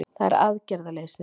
Það er aðgerðaleysið